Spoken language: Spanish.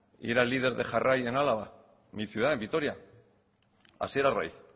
y era el líder de jarrai en álava mi ciudad en vitoria hasier arraiz